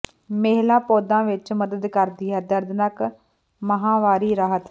ਮਹਿਲਾ ਪੌਦਾ ਵਿੱਚ ਮਦਦ ਕਰਦੀ ਹੈ ਦਰਦਨਾਕ ਮਾਹਵਾਰੀ ਰਾਹਤ